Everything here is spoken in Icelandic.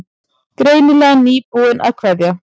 Greinilega nýbúin að kveðja.